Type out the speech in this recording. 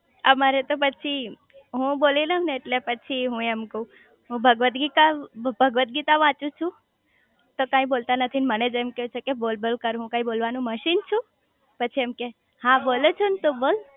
અમારે તો પછી હું બોલી લવ ને એટલે પછી હું એમ કાવ હું ભગવત ગીતા ભગવત ગીતા વાંચું છું તો તમે બોલતા નથીને મને જ એમ કે છે કે બોલ બોલ કરું હું કાઈ બોલવાનું મશીન છું પછી એમ કે હા બોલું ચુ ને તું બોલ